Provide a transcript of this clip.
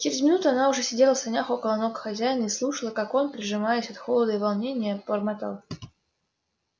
через минуту она уже сидела в санях около ног хозяина и слушала как он прижимаясь от холода и волнения бормотал